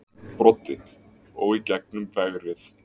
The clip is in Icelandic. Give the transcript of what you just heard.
Broddi: Og í gegnum vegrið.